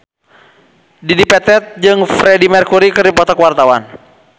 Dedi Petet jeung Freedie Mercury keur dipoto ku wartawan